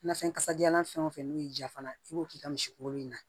Nafɛn kasajalan fɛn o fɛn n'o y'i diya fana i b'o k'i ka misi kolon in na